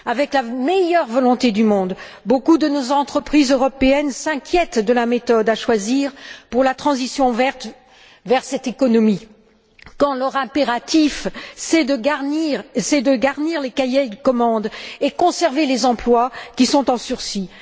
Avec la meilleure volonté du monde, beaucoup de nos entreprises européennes s'inquiètent de la méthode à choisir pour la transition verte vers cette économie quand leur impératif, c'est de garnir les cahiers de commande et de conserver les emplois qui sont en sursis?